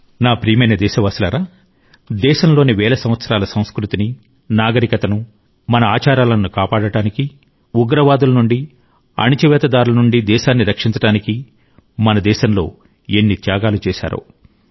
నా ప్రియమైన దేశవాసులారా దేశంలోని వేల సంవత్సరాల సంస్కృతిని నాగరికతను మన ఆచారాలను కాపాడడానికి ఉగ్రవాదుల నుండి అణచివేతదారుల నుండి దేశాన్ని రక్షించడానికి మన దేశంలో ఎన్ని త్యాగాలు చేశారో